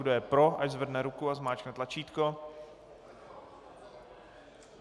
Kdo je pro, ať zvedne ruku a zmáčkne tlačítko.